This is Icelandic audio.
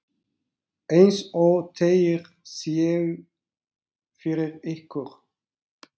eins og þeir séu fyrir ykkur!